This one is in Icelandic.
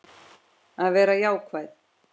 Að vera jákvæð.